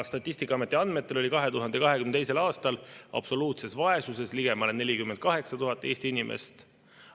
Statistikaameti andmetel oli 2022. aastal absoluutses vaesuses ligemale 48 000 Eesti inimest.